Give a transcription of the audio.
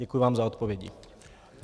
Děkuji vám za odpovědi.